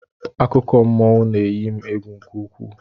Akụkọmmụọ na-eyi m egwu nke ukwuu